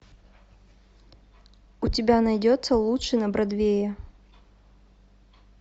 у тебя найдется лучший на бродвее